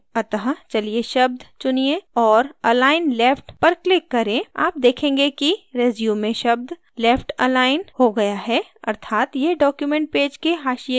अतः चलिए शब्द word चुनिए औरalign leftपर click करें आप देखेंगे कि resume शब्द leftअलाइन हो गया है अर्थात यह document पेज के हाशिये की बायीं ओर हो गया है